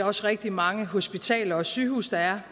også rigtig mange hospitaler og sygehuse der er